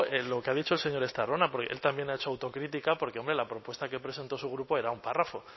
lo que ha dicho el señor estarrona porque él también ha hecho autocrítica porque hombre la propuesta que presentó su grupo era un párrafo